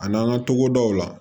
A n'an ka togodaw la